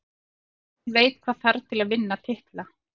Lið sem veit hvað þarf til að vinna titla.